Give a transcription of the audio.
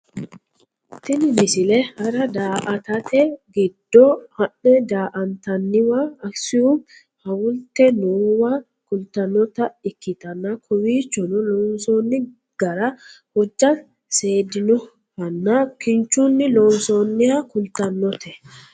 tini misile hara daa"atate giddo ha'ne daa"antanniwa akisuumi hawulte noowa kultannota ikkitanna kowiichono lonsoonni gara hojja seedinohanna kinchunni loonsoonniha kultannote